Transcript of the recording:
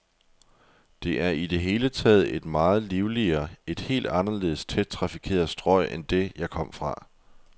Det er i det hele taget et meget livligere, et helt anderledes tæt trafikeret strøg end det, jeg kom fra.